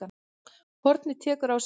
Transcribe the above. Hornið tekur á sig mynd